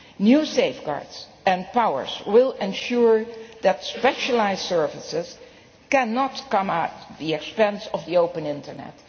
New safeguards and powers will ensure that specialised services cannot come at the expense of the open Internet.